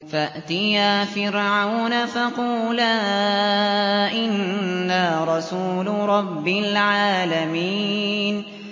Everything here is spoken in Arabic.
فَأْتِيَا فِرْعَوْنَ فَقُولَا إِنَّا رَسُولُ رَبِّ الْعَالَمِينَ